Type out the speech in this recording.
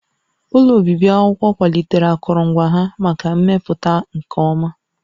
Ụlọ obibi akwụkwọ kwalitere akụrụngwa ha maka mmepụta nke ọma